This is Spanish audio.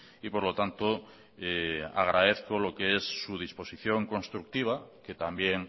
y por lo tanto agradezco lo que es su disposición constructiva que también